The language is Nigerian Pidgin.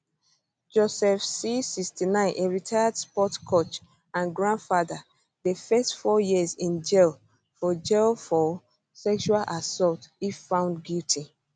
joseph c 69 a retired sports coach and grandfather dey face four years in jail for jail for sexual assault if found guilty